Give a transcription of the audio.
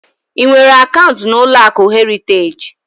Ị nwere akaụnt na ụlọakụ Heriteji?